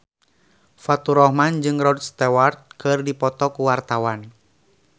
Faturrahman jeung Rod Stewart keur dipoto ku wartawan